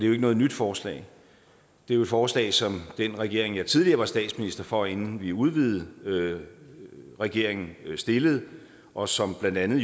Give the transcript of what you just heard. jo ikke noget nyt forslag det er jo et forslag som den regering jeg tidligere var statsminister for inden vi udvidede regeringen stillede og som blandt andet